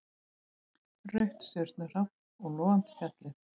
Rautt stjörnuhrap og logandi fjallið.